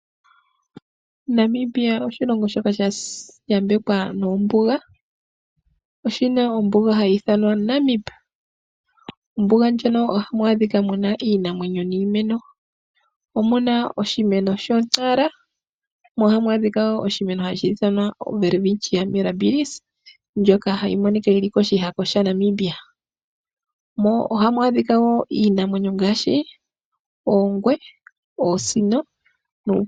Namibia oshilongo shoka sha yambekwa noombuga. Oshi na ombuga hayi ithanwa Namib. Mombuga moka ohamu adhika iinamwenyo niimeno. Oshi na oshimeno sho! Nara mo ohamu adhika wo oshimeno hashi ithanwa welwitchia mirabilis ndjoka hayi monika yi li koshihako shaNamibia. Ohamu adhika iinamwenyo ngaashi oongwee noosino.